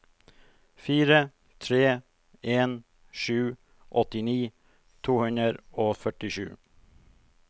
fire tre en sju åttini to hundre og førtisju